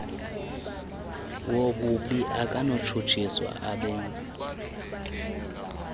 wobubi akanakutshutshiswa abenzi